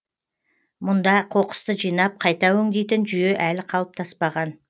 мұнда қоқысты жинап қайта өңдейтін жүйе әлі қалыптаспаған